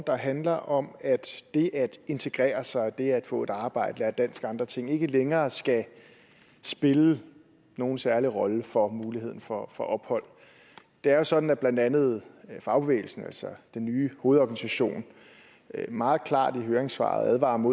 der handler om at det at integrere sig det at få et arbejde lære dansk og andre ting ikke længere skal spille nogen særlig rolle for muligheden for for ophold det er jo sådan at blandt andet fagbevægelsen altså den nye hovedorganisation meget klart i høringssvaret advarer om